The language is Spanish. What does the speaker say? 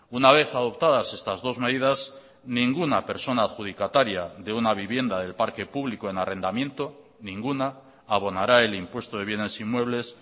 una vez adoptadas estas dos medidas ninguna persona adjudicataria de una vivienda del parque público en arrendamiento ninguna abonará el impuesto de bienes inmuebles